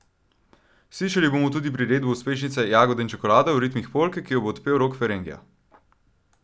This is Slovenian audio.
Slišali bomo tudi priredbo uspešnice Jagode in čokolada v ritmih polke, ki jo bo odpel Rok Ferengja.